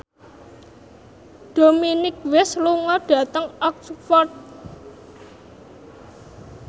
Dominic West lunga dhateng Oxford